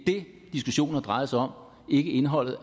det diskussionen har drejet sig om ikke indholdet